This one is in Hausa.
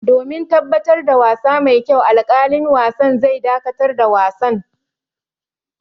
Domin tabbatar da wasa mai kyau, alƙalin wasa zai dakatar da wasan.